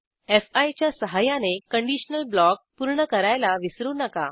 fee च्या सहाय्याने conditional block पूर्ण करायला विसरू नका